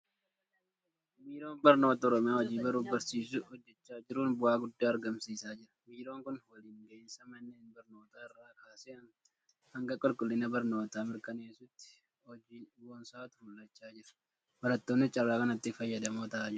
Biiroon Barnoota Oromiyaa hojii baruufi barsiisuu hojjechaa jiruun bu'aa guddaa argamsiisaa jira. Biiroon kun waliin gahinsa manneen barnootaa irraa kaasee banga qulqullina barnootaa mirkaneessuutti honjii boonsaatu mul'achaa jira. Barattoonnis carraa kanatti fayyadamoo ta'aa jiru.